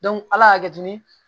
ala y'a kɛ tuguni